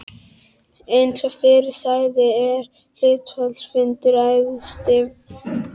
Eins og fyrr sagði er hluthafafundur æðsti valdhafinn í félaginu.